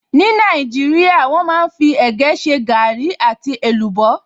Ní Nàìjíríà, wọ́n máa fí ẹ̀gẹ́ ṣe gaàrí àti èlùbọ́